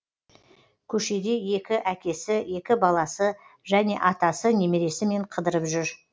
көшеде екі әкесі екі баласы және атасы немересімен қыдырып жүр